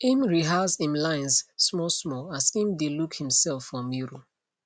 im rehearse im lines smallsmall as im dae look himself for mirror